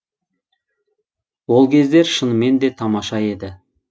ол кездер шынымен де тамаша еді